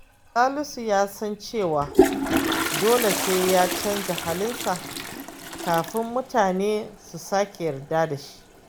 Salisu ya san cewa dole sai ya canza halinsa kafin mutane su sake yarda da shi.